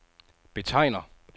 betegner